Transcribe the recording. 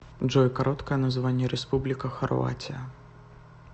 джой короткое название республика хорватия